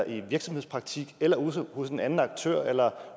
i virksomhedspraktik eller ude hos en anden aktør eller